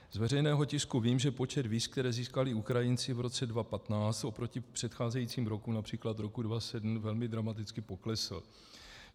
Z veřejného tisku vím, že počet víz, která získali Ukrajinci v roce 2015, oproti předcházejícím rokům, například roku 2007, velmi dramaticky poklesl.